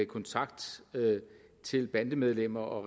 kontakt til bandemedlemmer og